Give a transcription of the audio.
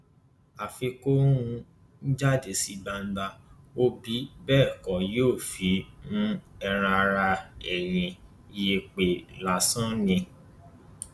àfi kó um jáde sí gbangba ó bí bẹẹ kọ yóò fi um ẹran ara ẹ yí yẹpẹ lásán ni